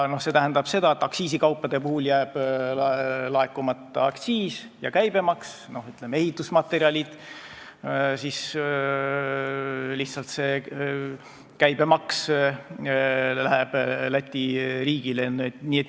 See tähendab, et kui aktsiisikaupadelt jääb laekumata aktsiis, siis ehitusmaterjali ostmisel läheb lihtsalt käibemaks Läti riigile.